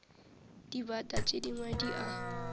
dibata tše dingwe di a